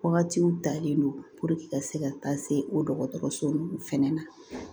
Wagatiw talen don ka se ka taa se o dɔgɔtɔrɔso nunnu fɛnɛ ma